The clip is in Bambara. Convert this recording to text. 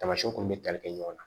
Tamasiyɛnw kun bɛ tali kɛ ɲɔgɔn na